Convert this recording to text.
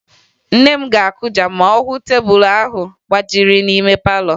Nne m ga-akụja ma ọ hụ tebulu ahụ gbajiri n'ime palọ